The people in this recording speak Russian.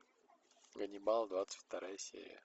ганнибал двадцать вторая серия